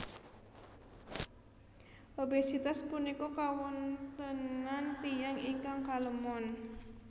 Obesitas punika kawontenan tiyang ingkang kalemon